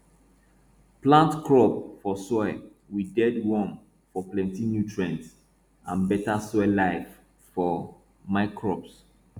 plant crop for soil with dead worm for plenty nutrient and better soil life for microbes